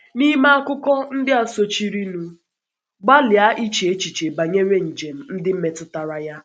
N’ime akụkọ ndị a sochirinụ, gbalịa iche echiche banyere njem ndị metụtara ya.